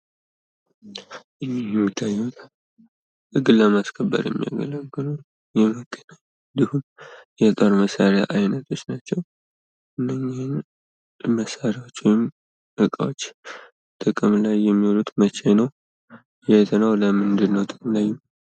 ሕገ መንግሥት የአንድን ሀገር መሠረታዊ የሕግ ማዕቀፍ የሚያሳይ ሲሆን የመንግሥትን ሥልጣን ይገድባል እንዲሁም የዜጎችን መብት ያስከብራል።